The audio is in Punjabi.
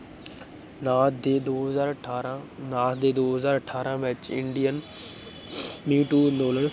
ਨਾਥ ਦੇ ਦੋ ਹਜ਼ਾਰ ਅਠਾਰਾਂ ਨਾਥ ਦੇ ਦੋ ਹਜ਼ਾਰ ਅਠਾਰਾਂ ਵਿੱਚ indian